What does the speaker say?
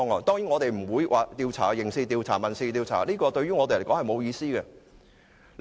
當然我們不會進行刑事調查或民事調查，這對我們並沒有意思。